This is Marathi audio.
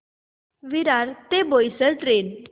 विरार ते बोईसर ट्रेन